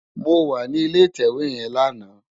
Mó wà ni ilé itèwé yèn làná